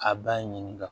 A b'a ɲininga